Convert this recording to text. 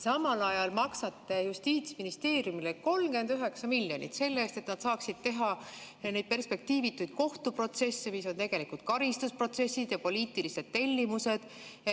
Samal ajal maksate Justiitsministeeriumile 39 miljonit, et nad saaksid teha neid perspektiivituid kohtuprotsesse, mis on tegelikult karistusprotsessid ja poliitilised tellimused.